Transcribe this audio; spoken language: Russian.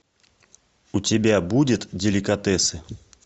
у тебя будет деликатесы